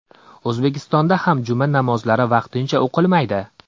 O‘zbekistonda ham juma namozlari vaqtincha o‘qilmaydi .